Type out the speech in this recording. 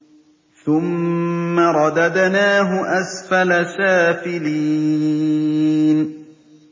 ثُمَّ رَدَدْنَاهُ أَسْفَلَ سَافِلِينَ